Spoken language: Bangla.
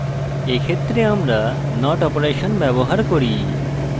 এক্ষেত্রে আমরা not অপারেশন ব্যবহার করি